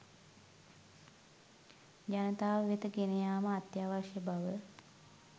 ජනතාව වෙත ගෙනයාම අත්‍යවශ්‍ය බව